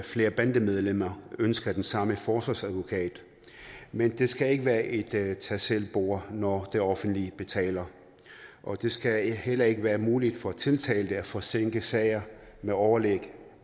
flere bandemedlemmer ønsker den samme forsvarsadvokat men det skal ikke være et tag tag selv bord når det offentlige betaler og det skal heller ikke være muligt for tiltalte at forsinke sager med overlæg